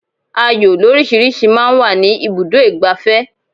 Ayò lórísìíríìsí máa ń wà ní ibùdó ìgbafẹ́.